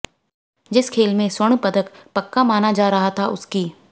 जिस खेल में स्वर्ण पदक पक्का माना जा रहा था उसकी